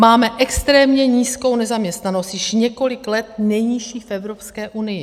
Máme extrémně nízkou nezaměstnanost, již několik let nejnižší v Evropské unii.